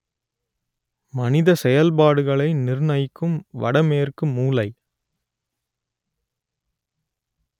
மனித செயல்பாடுகளை நிர்ணயிக்கும் வட மேற்கு மூலை